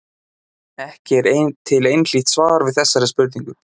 Ekki er til einhlítt svar við þessari spurningu.